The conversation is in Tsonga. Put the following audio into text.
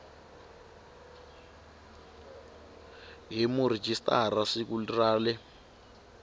hi murhijisitara siku ra le